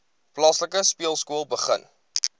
plaaslike speelskool begin